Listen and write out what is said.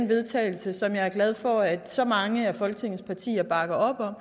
vedtagelse som jeg er glad for at så mange af folketings partier bakker op om